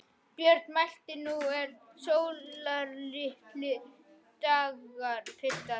Björn mælti: Nú eru sólarlitlir dagar, piltar!